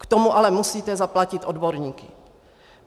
K tomu ale musíte zaplatit odborníky.